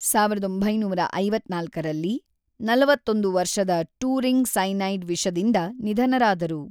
ಸಾವಿರದ ಒಂಬೈನೂರ ಐವತ್ತ್ನಾಲ್ಕರಲ್ಲಿ, ನಲವತ್ತೊಂದು ವರ್ಷದ ಟ್ಯೂರಿಂಗ್ ಸೈನೈಡ್ ವಿಷದಿಂದ ನಿಧನರಾದರು.